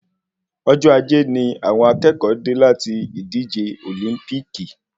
Ọjọ ajé ní àwọn akẹ́kọ̀ọ́ dé láti ìdíje òlímpíkì